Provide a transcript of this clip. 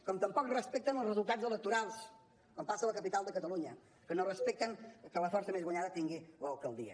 com tampoc respecten els resultats electorals com passa a la capital de catalunya que no respecten que la força més votada tingui l’alcaldia